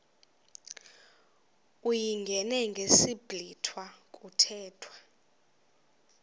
uyingene ngesiblwitha kuthethwa